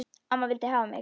Amma vildi hafa mig.